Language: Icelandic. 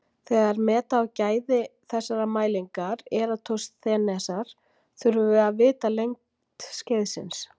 Þegar meta á gæði þessarar mælingar Eratosþenesar þurfum við að vita lengd skeiðsins.